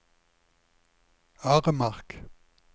Aremark